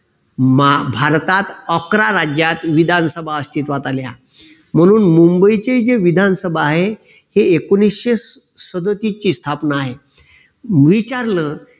मा आह भारतात अकरा राज्यात विधानसभा अस्तित्वात आल्या. म्हणून मुंबईचे जे विधानसभा आहे हे एकोणीशे सदोतीसचे स्थापना आहे. मी विचारल